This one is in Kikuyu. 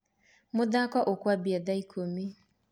Mũthako ũkũambia tha ikũmi.